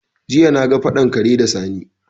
Jiya na ga faɗan kare da Sani